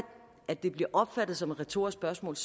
at det bliver opfattet som et retorisk spørgsmål